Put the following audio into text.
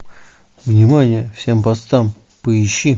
внимание всем постам поищи